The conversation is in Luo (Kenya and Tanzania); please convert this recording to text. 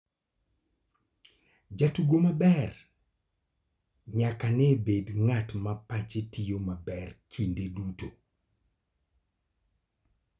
Jatugo maber nyaka ne bed ng'at ma pache tiyo maber kinde duto.